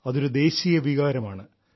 അതൊരു ദേശീയ വികാരമാണ്